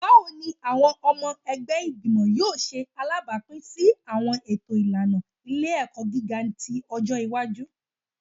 Bawo ni awọn ọmọ ẹgbẹ igbimọ yoo ṣe alabapin si awọn eto ilana ile-ẹkọ giga ti ọjọ iwaju?